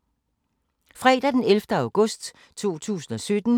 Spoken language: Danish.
Fredag d. 11. august 2017